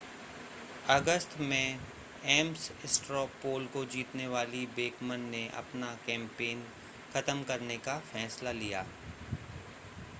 अगस्त में Ames straw poll को जीतने वाली बेकमन ने अपना कैंपेन खत्म करने का फ़ैसला लिया